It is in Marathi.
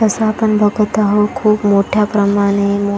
तस आपण बघत आहोत खूप मोठ्या प्रमाणे मो--